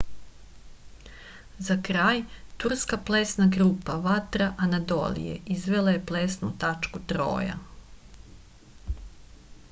za kraj turska plesna grupa vatra anadolije izvela je plesnu tačku troja